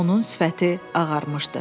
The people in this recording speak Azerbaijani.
Onun sifəti ağarmışdı.